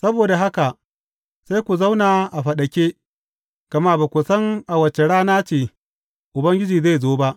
Saboda haka sai ku zauna a faɗake, gama ba ku san a wace rana ce Ubangijinku zai zo ba.